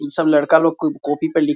ये सब लड़का लोग कॉपी पे लिख --